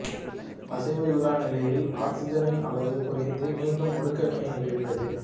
அசைவு இல்லா நிலையில் ஆக்சிசனின் அளவு குறைந்து மீண்டும் ஒடுக்கவினை நிகழ்கிறது